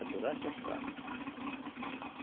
durante a safra.